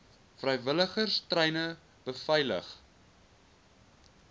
vrywilligers treine beveilig